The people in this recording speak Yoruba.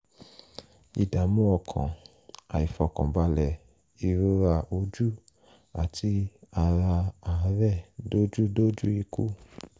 ìdààmú ọkàn àìfọkànbàlẹ̀ ìrora ojú àti ara àárẹ̀ dójú dójú ikú